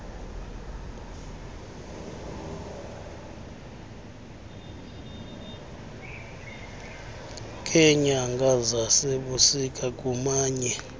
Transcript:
ngeenyanga zasebusika kumanye